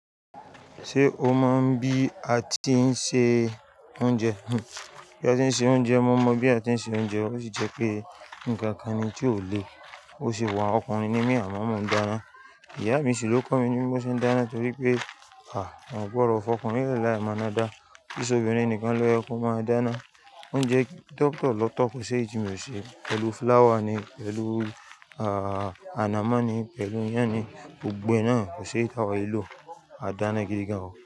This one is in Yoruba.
Ṣé o mọ̀ bí a tí ń se oúnjẹ? Bí a tí ń se oúnjẹ, mo mọ̀ bí a tí ń se oúnjẹ. Ó sì jẹ́ pé nǹkan kan ni tí ò le. Ó sì wà ọkùnrin níbí àwọn ọmọ ń dáná. Ìyá mi sì ló kọ́ mi ní bí mo ṣe ń dáná torí pé, à, wọn gbọ́ ọ̀rọ̀ fọkùnrin rẹ̀ láé mọ́ná dá. Ki i ṣẹ́ obìnrin nìkan ló yẹ kó máa dáná. Oúnjẹ tọ̀tọ̀ lọ́tọ̀ kò ṣe éyi tí mi ò ṣe. Pẹ̀lú fúláwà ni, pẹ̀lú, ah, anamọ́ ni, pẹ̀lú ìyàn ni, gbogbo e náà kò ṣe é táwa e lo a dáná gidi gan.